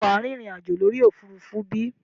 Ṣé wàá rìnrìn àjò lórí òfurufú bí?